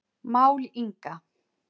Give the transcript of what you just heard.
Mál Inga